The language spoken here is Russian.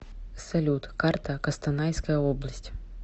салют карта костанайская область